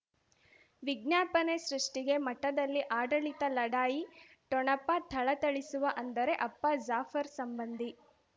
ವಿಜ್ಞಾಪನೆ ಸೃಷ್ಟಿಗೆ ಮಠದಲ್ಲಿ ಆಡಳಿತ ಲಢಾಯಿ ಠೊಣಪ ಥಳಥಳಿಸುವ ಅಂದರೆ ಅಪ್ಪ ಜಾಫರ್ ಸಂಬಂಧಿ